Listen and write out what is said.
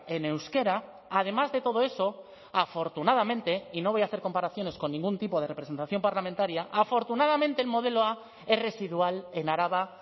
en euskera además de todo eso afortunadamente y no voy a hacer comparaciones con ningún tipo de representación parlamentaria afortunadamente el modelo a es residual en araba